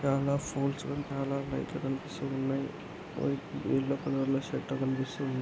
చాలా పోల్స్ చాలా లైట్లు కనిపిస్సు ఉన్నాయ్. వై ఎల్లో కలర్ లో షట్టర్ కనిపిస్సు ఉంది.